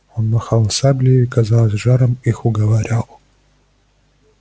он махал саблею и казалось с жаром их уговаривал